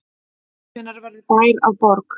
Hvenær verður bær að borg?